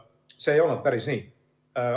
See ei olnud päris nii.